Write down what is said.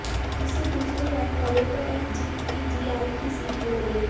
जिससे दूसरी रैंक वाले को एसजीपीजीआई की सीट मिल गई